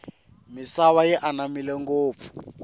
misava yi anamile ngofu